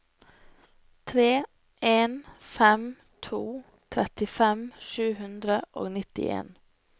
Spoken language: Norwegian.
tre en fem to trettifem sju hundre og nittien